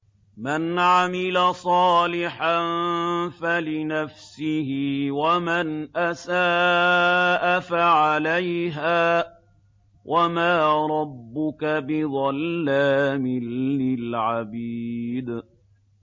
مَّنْ عَمِلَ صَالِحًا فَلِنَفْسِهِ ۖ وَمَنْ أَسَاءَ فَعَلَيْهَا ۗ وَمَا رَبُّكَ بِظَلَّامٍ لِّلْعَبِيدِ